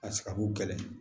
A sagaku gɛlɛn